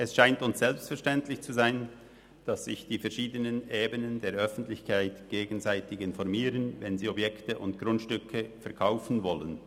Es scheint uns selbstverständlich zu sein, dass sich die verschiedenen Ebenen der Öffentlichkeit gegenseitig informieren, wenn sie Objekte und Grundstücke verkaufen wollen.